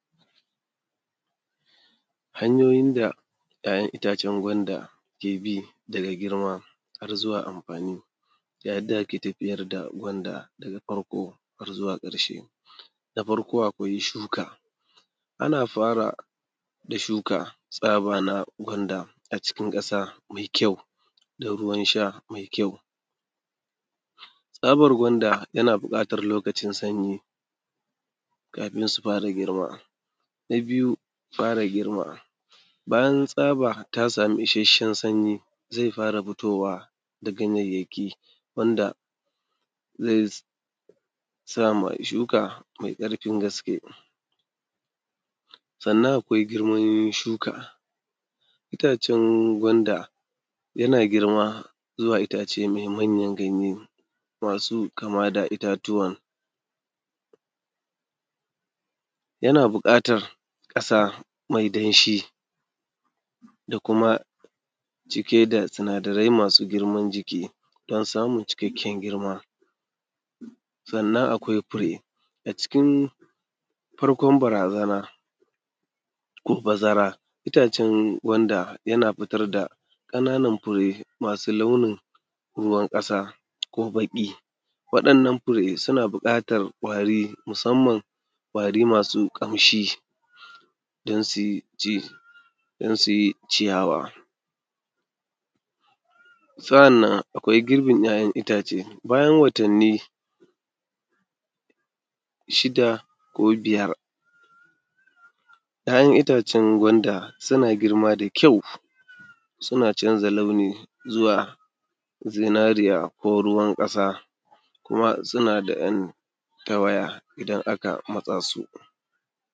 Hanyoyin da ‘ya’yan itacen gwanda ke bi daga girma har zuwa amfani. Ga yadda ake tafiyar da gwanda daga farko har zuwa ƙarshe, da farko akwai shuka, ana fara da shuka tsaba na gwanda a cikin ƙasa me kyau da ruwan sha me kyau. Tsabar gwanda yana buƙatar lokacin sanyi, kafin su fara girma. bayan tsaba ta sami isasshen sanyi, ze fara fitowa da ganyayyaki wanda zai sa ma shuka mai ƙarfin gaske. Sannan akwai girman shuka, itacen gwanda yana girma zuwa itace me manyan ganye, masu kama da itatuwan, yana buƙatar ƙasa me danshi da kuma cike da sinadarai masu girman jiki don samun cikakken girma. Sannan akwai fure, a cikin farkon barazana, ko bazara, itacen gwanda yana fitar da ƙananan fure masu launin ruwan ƙasa ko baƙi. Waɗannan fure suna buƙatar ƙwari, musamman ƙwari masu ƙamshi don sui ji; don su yi ciyawa. Sa’annan akwai girbin ‘ya’yan itace, bayan watanni shida ko biyar, ‘ya’yan itacen gwanda suna girma da kyau, suna canza launi zuwa zinariya ko ruwan ƙasa kuma suna da ‘yan tawaya idan aka matsa su.